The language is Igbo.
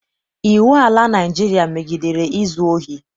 Iwu ala Naịjirịa megidere izu ohi.